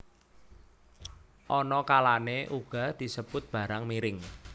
Ana kalané uga disebut barang miring